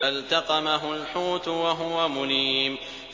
فَالْتَقَمَهُ الْحُوتُ وَهُوَ مُلِيمٌ